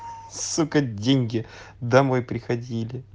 сука деньги домой приходили